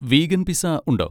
Vegan pizza ഉണ്ടോ?